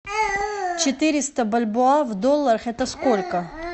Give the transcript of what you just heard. четыреста бальбоа в долларах это сколько